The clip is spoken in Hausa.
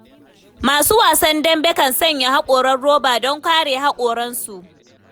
Masu wasan dambe kan sanya haƙoran roba don kare haƙoransu.